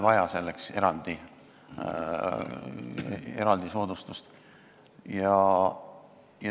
Selleks pole vaja eraldi soodustust.